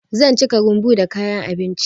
Zan cika rumbu da kayan abinci.